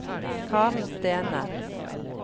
Karen Stene